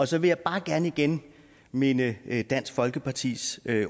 så vil jeg bare gerne igen minde dansk folkepartis